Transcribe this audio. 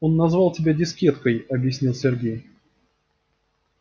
он назвал тебя дискеткой объяснил сергей